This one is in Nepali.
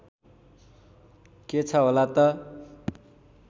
के छ होला त